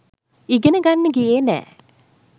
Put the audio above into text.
ඉගෙන ගන්න ගියේ නැ.